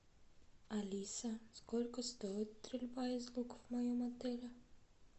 алиса сколько стоит стрельба из лука в моем отеле